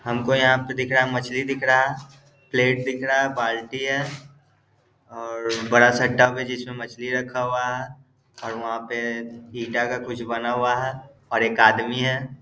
हमको यहाँ पे दिख रहा मछली दिख रहा प्लेट दिख रहा बाल्टी है और बड़ा सा टब है जिसमे मछली रखा हुआ हैऔर वहां पे हिटा का कुछ बना हुआ है और एक आदमी है।